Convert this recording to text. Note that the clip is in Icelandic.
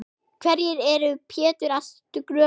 Hverju er Pétur að skrökva?